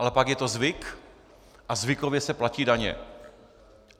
Ale pak je to zvyk a zvykově se platí daně.